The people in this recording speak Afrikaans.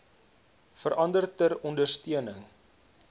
verander ter ondersteuning